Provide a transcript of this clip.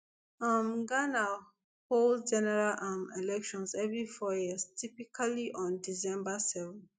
um ghana hold general um elections every four years typically on december seven